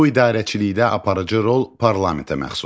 Bu idarəçilikdə aparıcı rol parlamentə məxsusdur.